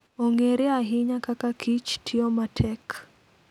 Ong'ere ahinya kaka kich tiyo matek.